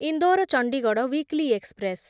Indore Chandigarh weekly express